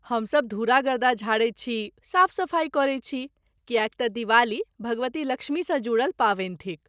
हम सब धूरा गर्दा झाड़ैत छी, साफ सफाई करैत छी, किएक तँ दिवाली भगवती लक्ष्मीसँ जुड़ल पाबनि थिक।